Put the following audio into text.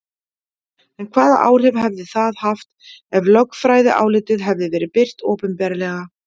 En hvaða áhrif hefði það haft ef lögfræðiálitið hefði verið birt opinberlega?